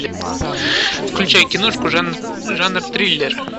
включай киношку жанр триллер